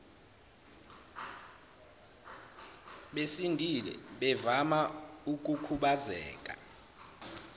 besindile bavama ukukhubazeka